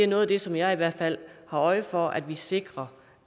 noget af det som jeg i hvert fald har øje for er at vi sikrer